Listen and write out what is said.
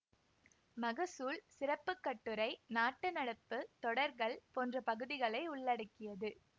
மகசூல் சிறப்பு கட்டுரை நாட்டு நடப்பு தொடர்கள் போன்ற பகுதிகளை உள்ளடக்கியது